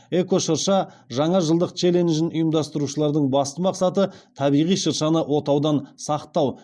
эко шырша жаңа жылдық челленджін ұйымдастырушылардың басты мақсаты табиғи шыршаны отаудан сақтау